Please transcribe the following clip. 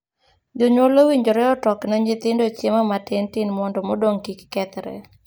Jonyuol owinjore otokne nyithindo chiemo matintin mondo modong' kik kethre.